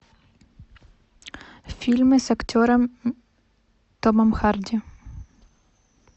фильмы с актером томом харди